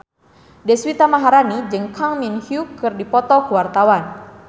Deswita Maharani jeung Kang Min Hyuk keur dipoto ku wartawan